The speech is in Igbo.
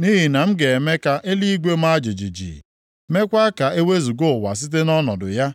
Nʼihi na m ga-eme ka eluigwe maa jijiji, meekwa ka e wezuga ụwa site nʼọnọdụ ya, +